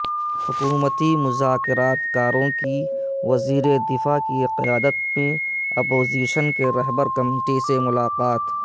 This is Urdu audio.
حکومتی مذاکرات کاروں کی وزیر دفاع کی قیادت میں اپوزیشن کی رہبر کمیٹی سے ملاقات